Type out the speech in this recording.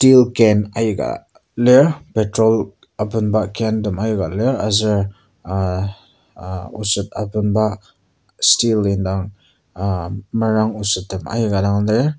can aika lir petrol abenba can tem aika lir aser ah ah oset abenba steel indang ah merang osettem aika dang lir.